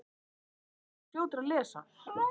þessi tilhneiging mun þó hafa byrjað fyrr